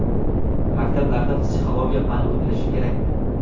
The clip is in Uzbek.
Maktablarda psixologiya fani o‘tilishi kerakmi?